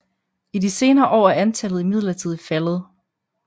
I de senere år er antallet imidlertid faldet